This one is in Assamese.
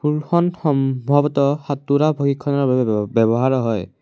পুলখন সম্ভৱত সাঁতোৰা প্ৰশিক্ষণৰ বাবে ব-ব্যৱহাৰ হয়।